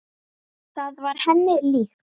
Það var henni líkt.